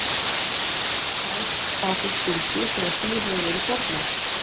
Líf þeirra fær þá fyrst gildi þegar því hefur verið fórnað.